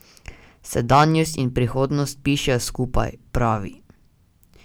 Sedanjost in prihodnost pišejo skupaj, pravi.